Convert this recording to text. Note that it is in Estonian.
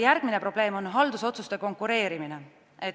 Järgmine probleem on haldusotsuste konkureerimine.